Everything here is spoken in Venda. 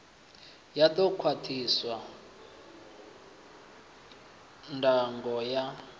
ya ḓo khwaṱhisa ndango ya